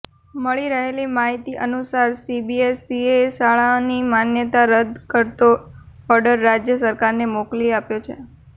મળી રહેલી માહિતી અનુસાર સીબીએસસીએ શાળાની માન્યતા રદ્દ કરતો ઓર્ડર રાજ્ય સરકારને મોકલી આપ્યો છે